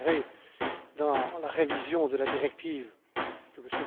Vous le verrez dans la révision de la directive que M.